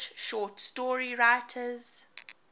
english short story writers